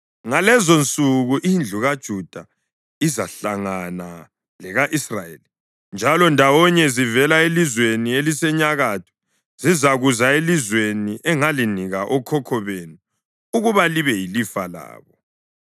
Ngalezonsuku indlu kaJuda izahlangana leka-Israyeli, njalo ndawonye, zivela elizweni elisenyakatho, zizakuza elizweni engalinika okhokho benu ukuba libe yilifa labo.